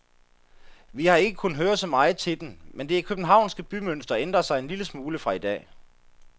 Vi har ikke kunnet høre så meget til dem, men det københavnske bymønster ændrer sig en lille smule fra i dag.